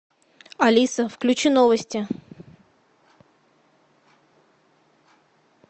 алиса включи новости